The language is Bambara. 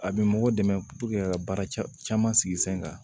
A bɛ mɔgɔ dɛmɛ ka baara c caman sigi sen kan